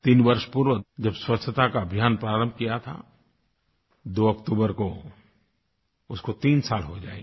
तीन वर्ष पूर्व जब स्वच्छता का अभियान प्रारंभ किया था 2 अक्टूबर को उसको तीन साल हो जायेंगे